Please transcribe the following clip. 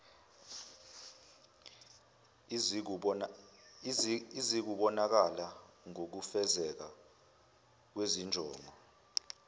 izikubonakala ngokufezeka kwezinjongo